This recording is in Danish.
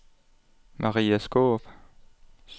Maria Skaarup